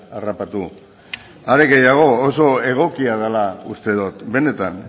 harrapatu are gehiago oso egokia dela uste dut benetan